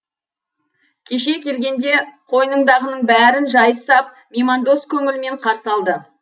кеше келгенде қойныңдағының бәрін жайып сап меймандос көңілмен қарсы алды